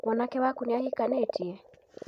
Mwanake wakũ nĩ ahikanĩtie